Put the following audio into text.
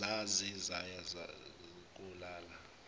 zaze zaya kolala